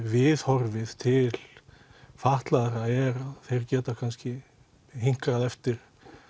viðhorfið til fatlaðra er þeir geta kannski hinkrað eftir